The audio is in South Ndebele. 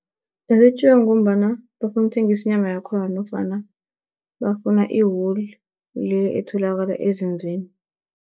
Zetjiwa ngombana bafuna ukuthengisa inyama yakhona nofana bafuna i-wool le etholakala ezimvini.